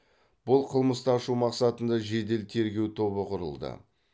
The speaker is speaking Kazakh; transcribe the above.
бұл қылмысты ашу мақсатында жедел тергеу тобы құрылды